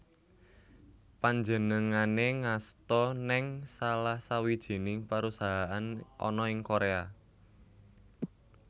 Panjenengané ngasta nèng salah sawijining perusahaan ana ing Korea